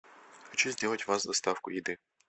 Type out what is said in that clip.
хочу сделать у вас доставку еды